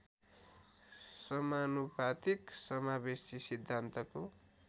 समानुपातिक समावेशी सिद्धान्तको